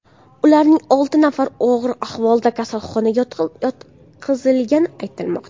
Ularning olti nafari og‘ir ahvolda kasalxonaga yotqizilgani aytilmoqda.